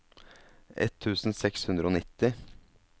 ett tusen seks hundre og nitti